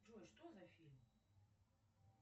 джой что за фильм